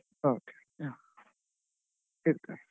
Okay ಹಾ ಇಡ್ತೇನೆ.